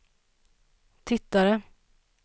tittade